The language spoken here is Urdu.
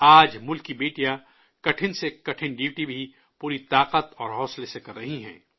آج ملک کی بیٹیاں مشکل سے مشکل ڈیوٹی بھی پوری طاقت اور حوصلے سے کر رہی ہیں